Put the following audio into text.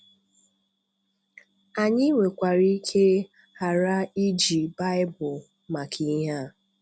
Anyị nwekwara ike ghara iji Baịbụl maka ihe a.